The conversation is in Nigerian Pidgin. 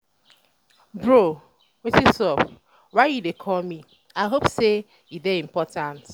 bro wetin sup? why you call me? i hope say e dey um important